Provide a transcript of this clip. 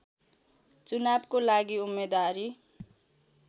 चुनावको लागि उम्मेद्वारी